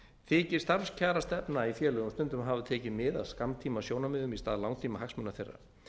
þykir starfskjarastefna í félögum stundum hafa tekið mið af skammtímasjónarmiðum í stað langtímahagsmuna þeirra